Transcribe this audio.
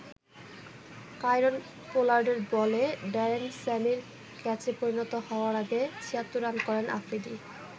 Kieron পোলার্ডের বলে Darren স্যামির ক্যাচে পরিণত হওয়ার আগে ৭৬ রান করেন আফ্রিদি।